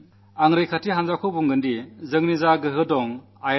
നിയമവ്യവസ്ഥ നടത്തിക്കൊണ്ടുപോകുന്നതിന് ഭരണകൂടത്തിന് ചില നടപടികൾ എടുക്കേണ്ടി വരും